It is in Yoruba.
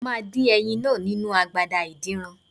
Mo máa dín ẹyin náà nínu agbada adínran.